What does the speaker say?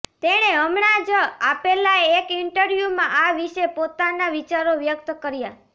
તેણે હમણાં જ આપેલા એક ઈન્ટરવ્યૂમાં આ વિશે પોતાના વિચારો વ્યક્ત કર્યા